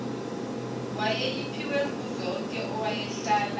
wayeyiphiwe nguzonke owayehlala